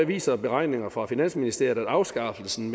viser beregninger fra finansministeriet at afskaffelsen